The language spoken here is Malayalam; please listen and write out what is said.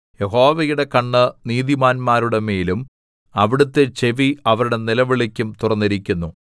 യഹോവയുടെ കണ്ണ് നീതിമാന്മാരുടെമേലും അവിടുത്തെ ചെവി അവരുടെ നിലവിളിക്കും തുറന്നിരിക്കുന്നു